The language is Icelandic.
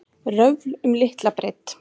Röfl um litla breidd